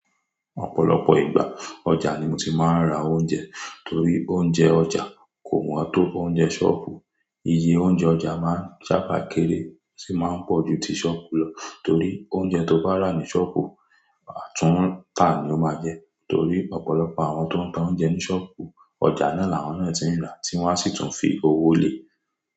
Ọ̀pọ̀lọpọ̀ ìgbà, ọjà ni mo ti ma n ra oúnjẹ torí oúnjẹ ọjà kò mọ́ á tó ọúnjẹ ṣọ́ọ̀ọ̀bù. Iye oúnjẹ ọjà máa ń sábà kéré sì máa ń pọ̀ ju ti ṣọ́ọ̀bù lọ torí oúnjẹ to bá rà ní ṣọ́ọ̀bù, àtúntà ni ó máa jẹ́ torí ọ̀pọ̀lọpọ̀ àwọn tó ń ta oúnjẹ ní ṣọ́ọ̀bù, ọjà náà làwọn náà ti n rà tí wọ́n á sì tún fi owó lé.